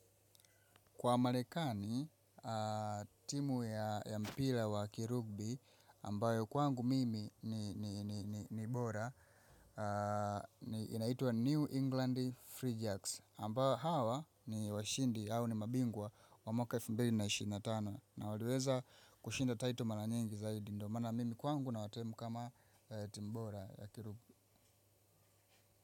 Kwa marekani, timu ya mpira wa kirugbi, ambayo kwangu mimi ni bora, inaitwa New England Free Jacks. Ambao hawa ni washindi, au ni mabingwa wa mwaka elfu mbili na ishirini na tano na waliweza kushinda title mara nyingi zaidi ndo maana mimi kwangu nawatemu kama timu bora ya kirugbi.